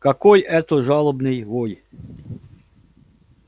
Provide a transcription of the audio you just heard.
какой это жалобный вой